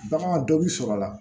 Bagan dɔ b'i sɔrɔ a la